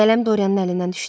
Qələm Doryanın əlindən düşdü.